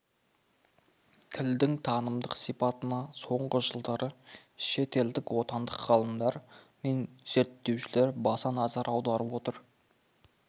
тілдің танымдық сипатына соңғы жылдары шет елдік отандық ғалымдар мен зерттеушілер баса назар аударып отыр